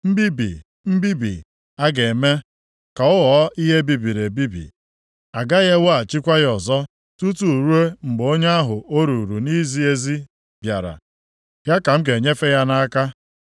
Mbibi, mbibi. Aga m eme ka ọ ghọọ ihe e bibiri ebibi. A gaghị eweghachikwa ya ọzọ tutu ruo mgbe onye ahụ o ruuru nʼizi ezi bịara. Ya ka m ga-enyefe ya nʼaka.’